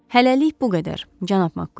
Hələlik bu qədər, cənab Makkuin.